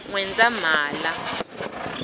nwendzamhala